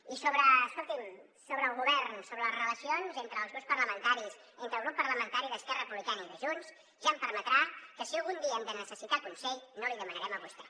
i escolti’m sobre el govern sobre les relacions entre els grups parlamentaris entre el grup parlamentari d’esquerra republicana i de junts ja em permetrà que si algun dia hem de necessitar consell no l’hi demanarem a vostè